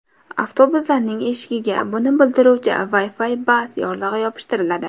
Avtobuslarning eshigiga buni bildiruvchi Wi-Fi Bus yorlig‘i yopishtiriladi.